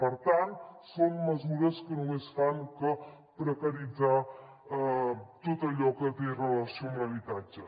per tant són mesures que només fan que precaritzar tot allò que té relació amb l’habitatge